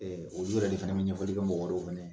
olu yɛrɛ de fana bɛ ɲɛfɔli kɛ mɔgɔ wɛrɛ fana ye.